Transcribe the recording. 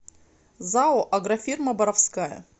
зао агрофирма боровская